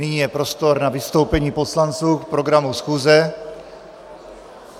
Nyní je prostor na vystoupení poslanců k programu schůze.